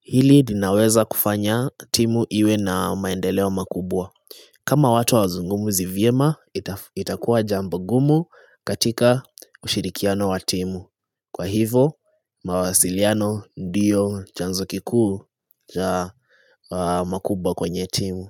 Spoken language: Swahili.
hili linaweza kufanya timu iwe na maendeleo makubwa. Kama watu hawazungumzi vyema itakua jambo ngumu katika ushirikiano wa timu. Kwa hivo, mawasiliano dio chanzo kikuu cha makubwa kwenye timu.